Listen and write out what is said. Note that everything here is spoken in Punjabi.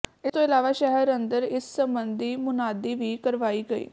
ਇਸ ਤੋਂ ਇਲਾਵਾ ਸ਼ਹਿਰ ਅੰਦਰ ਇਸ ਸਬੰਧੀ ਮੁਨਾਦੀ ਵੀ ਕਰਵਾਈ ਗਈ